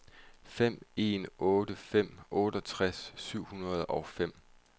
fem en otte fem otteogtres syv hundrede og fem